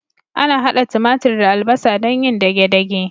Ana hada timatir da albasa don yin dage-dage.